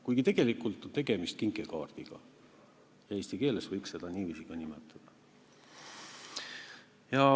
Kuigi tegelikult on tegemist kinkekaardiga, eesti keeles võiks seda ka niiviisi nimetada.